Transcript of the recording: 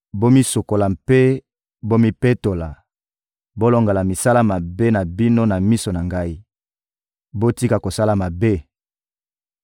Bomisukola mpe bomipetola, bolongola misala mabe na bino na miso na Ngai! Botika kosala mabe!